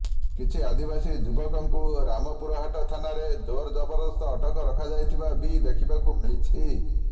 କିଛି ଆଦିବାସୀ ଯୁବକଙ୍କୁ ରାମପୁରହାଟ ଥାନାରେ ଜୋର ଜବରଦସ୍ତ ଅଟକ ରଖାଯାଇଥିବା ବି ଦେଖିବାକୁ ମିଳିଛି